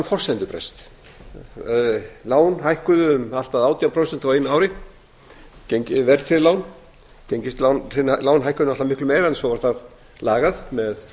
um forsendubrest lán hækkuðu um allt að átján prósent á einu ári verðtryggð lán gengislán hækkuðu náttúrlega miklu meira en svo var það lagað með